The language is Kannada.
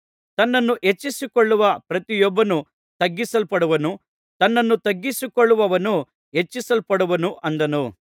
ತನ್ನನ್ನು ಹೆಚ್ಚಿಸಿಕೊಳ್ಳುವ ಪ್ರತಿಯೊಬ್ಬನು ತಗ್ಗಿಸಲ್ಪಡುವನು ತನ್ನನ್ನು ತಗ್ಗಿಸಿಕೊಳ್ಳುವವನು ಹೆಚ್ಚಿಸಲ್ಪಡುವನು ಅಂದನು